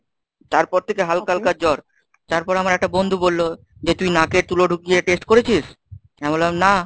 তারপর থেকে হালকা হালকা জ্বর তারপর আমার একটা বন্ধু বলল যে তুই নাকে তুলো ঢুকিয়ে test করেছিস? আমি বললাম না।